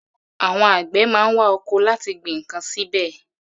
Àwọn àgbẹ̀ má ń wa oko láti gbin ǹkan síbẹ̀.